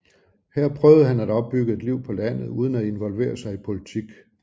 Her prøvede han at opbygge et liv på landet uden at involvere sig i politik